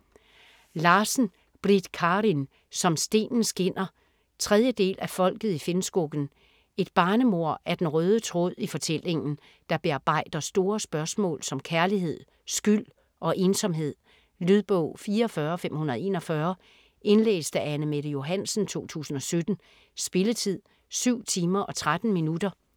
Larsen, Britt Karin: Som stenen skinner 3. del af Folket i Finnskogen. Et barnemord er den røde tråd i fortællingen, der bearbejder store spørgsmål som kærlighed, skyld og ensomhed. Lydbog 44541 Indlæst af Anne-Mette Johansen, 2017. Spilletid: 7 timer, 13 minutter.